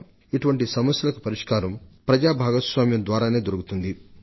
ఇటువంటి సమస్యలను పరిష్కరించడానికి ప్రజల భాగస్వామ్యం ఒక బలమైన పునాదిగా నిలబడుతుంది